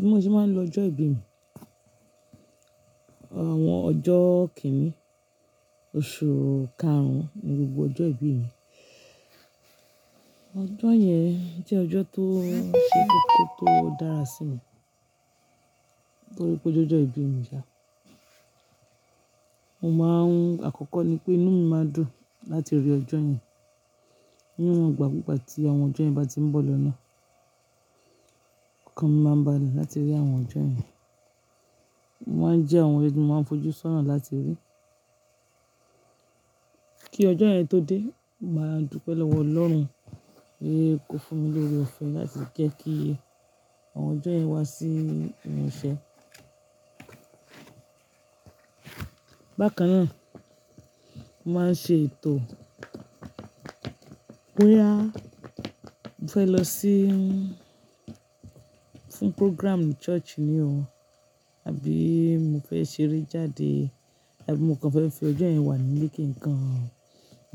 Bí mo ṣe máa ń lo ọjọ́ ìbí mi, àwọn ọjọ́ kìn-ín, oṣù karùn-ún ni gbogbo ọjọ́ ìbí mi. Ọjọ́ yẹn jẹ́ ọjọ́ tó, ṣé koko tó dára sí mi nítorí pé ó jẹ́ ọjọ́ ìbí mi ṣà. Mo máa ń, àkọ́kọ́ ni pé inú mi máa dùn láti rí ọjọ́ yẹn. Ní iwọ̀n ìgbà kú ìgbà tí àwọn ọjọ́ yẹn bá ti ń bọ̀ lọ́nà, ọkàn mi máa ń balẹ̀ láti rí àwọn ọjọ́ yẹn. Wọ́n jẹ́ àwọn ọ́jọ̀ tí mo máa ń fojú sọ́nà láti rí. Kí ọjọ́ yẹn tó dé, màá dúpẹ́ lọ́wọ́ Ọlọ́run péè kó fún mi lóre òfẹ̀ láti jẹ́ kí àwọn ọjọ́ yẹn wá sí ìmuṣẹ́. Bákan náà, mo máa ń ṣe ètò bóyá mo fẹ́ lọ sí fún programme ní church ni o àbí mo fẹ́ ṣeré jáde àbí mo kàn fẹ́ fi ọjọ́ yẹn wà nílé kí nǹkan,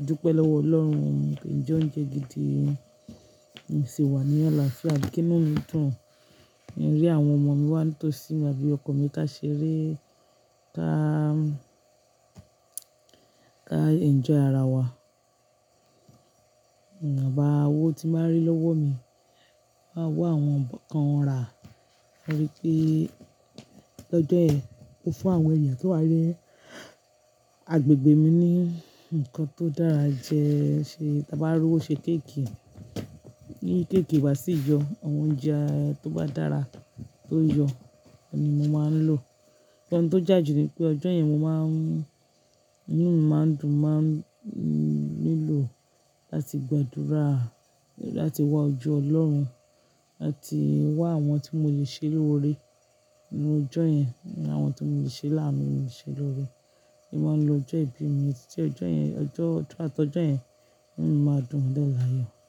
dúpẹ́ lọ́wọ́ Ọlọ́run kín njẹ́ oúnjẹ gidi kín sì wà ní àlàáfíà àbí kí inú mi dùn boya àwọn ọmọ mi wá ń tò sí mi àbí ọkọ mi ká ṣeré ká, ká enjoy ara wa. Ǹwọ̀n bà owó tí bàá rí lọ́wọ́ mi, màá wa àwọn nnkan kàn rà torí pé lọ́jọ́ yẹn mo fún àwọn èèyàn tó wá ni àgbègbè mi ní nǹkan tó dára jẹ, ṣe tá bá rí owo ṣe cake, bí cake obá sí yọ, àwọn oúnjẹ tó bá dára tó yọ ni mo máa ń lò. Nnkan tó já ju ni pé ọjọ́ yẹn mo máa ń, inú mi máa ń dùn, máa ń nílò láti gbàdúrà láti wá ojú Ọlọ́run láti wá àwọn tí mo lè ṣe lóre inú ọjọ́ yẹn, àwọn tí mo lè ṣe láànú, mo lè ṣe lóre. Mo n máa ń lo ọjọ́ ìbí mi, títí ọjọ́ yẹn, ọjọ́ throughout ọ̀jọ́ yẹn inú mi máa dùn dẹ́ layọ́.